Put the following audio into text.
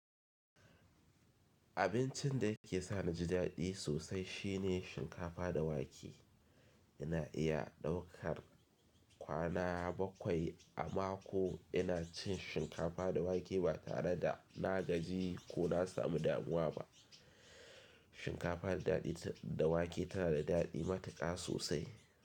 Abincin da yake sa naji daɗi sosai shi ne shinkafa da wake. Ina iya ɗaukar kwana bakwai a mako ina cin shinkafa da wake ba tare da na gaji ko na samu damuwa ba. Shinkafa da wake tana da daɗi matuƙa sosai.